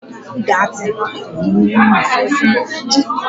Analjesik bụ ọgwụ ihe mgbu.